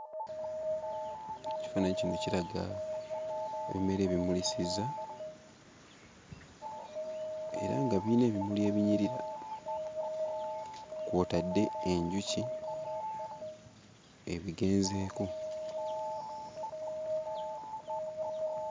Ekifaananyi kino kiraga ebimera ebimulisizza era nga biyina ebimuli ebinyirira kw'otadde enjuki ebigenzeeko